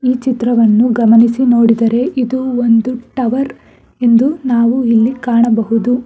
ಈ ಚಿತ್ರವನ್ನು ಗಮನಿಸಿ ನೋಡಿದರೆ ಇದು ಒಂದು ಟವರ್ ಎಂದು ನಾವು ಇಲ್ಲಿ ಕಾಣಬಹುದು.